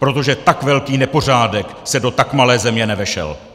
Protože tak velký nepořádek se do tak malé země nevešel!